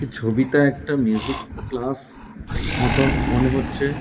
ছবিতে একটা music class মতন মনে হচ্ছে।